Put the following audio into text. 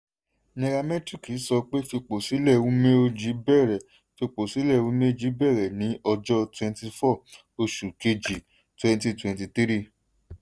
nairametric sọ pé fìpọ́sílẹ̀ umeoji bẹ̀rẹ̀ fìpọ́sílẹ̀ umeoji bẹ̀rẹ̀ ní ọjọ́ twenty four oṣù kejì twenty twenty three.